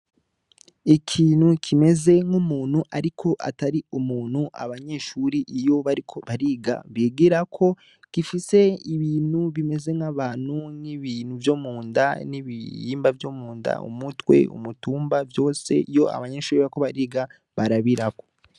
Ikintu kimeze nkumuntu ariko Atari umuntu abanyeshure iyo bariko bariga bigirako gifise ibintu bimeze nkabantu nibintu vyo Munda, ibihimba vyo Munda, umutwe, umutumba vyose abanyeshure bariko bariga barabirako.